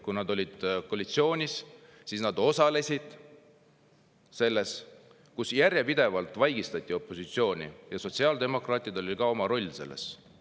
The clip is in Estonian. Kui sotsiaaldemokraadid olid koalitsioonis, siis nad osalesid opositsiooni järjepidevas vaigistamises, neil oli ka oma roll selles.